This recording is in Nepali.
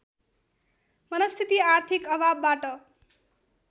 मनस्थिति आर्थिक अभावबाट